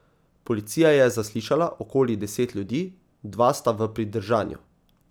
Policija je zaslišala okoli deset ljudi, dva sta v pridržanju.